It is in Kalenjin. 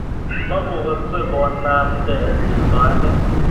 Memukaksei konamden chito age